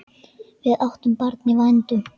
Við áttum barn í vændum.